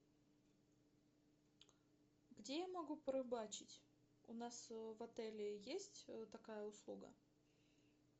где я могу порыбачить у нас в отеле есть такая услуга